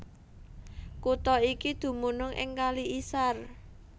Kutha iki dumunung ing Kali Isar